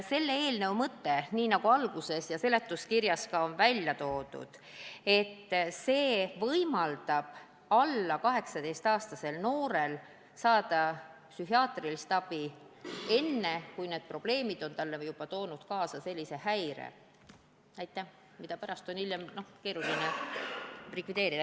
Selle eelnõu mõte – nagu ma alguses ütlesin ja ka seletuskirjas on välja toodud – on see, et võimaldada alla 18-aastasel noorel saada psühhiaatrilist abi enne, kui need probleemid on talle kaasa toonud sellise häire, mida hiljem on keeruline likvideerida.